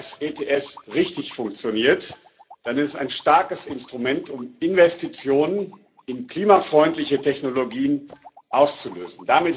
Wenn das ETS richtig funktioniert, dann ist es ein starkes Instrument, um Investitionen in klimafreundliche Technologien auszulösen.